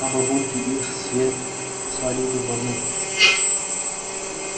а бабульки их все свалили в одну